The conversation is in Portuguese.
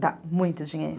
Dá muito dinheiro.